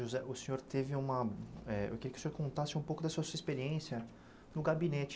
José, o senhor teve uma eh... Eu queria que o senhor contasse um pouco da sua experiência no gabinete.